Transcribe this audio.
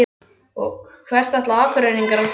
Og hvert ætla Akureyringar að fara?